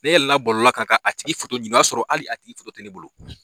Ne yɛlɛla bɔlɔlɔ kan a tigi foto ɲini o y'a sɔrɔ hali a tigi foto tɛ ne bolo.